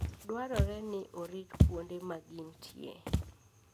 Dwarore ni orit kuonde ma gintie.